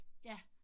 Ja